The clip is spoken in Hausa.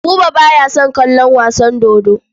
Buba ba ya son kallon wasan dodo.